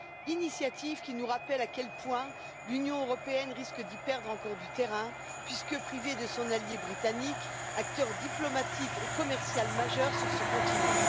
Cette initiative nous rappelle à quel point l'Union européenne risque d'y perdre encore du terrain, puisque privée de son allié britannique, acteur diplomatique et commercial majeur sur ce continent.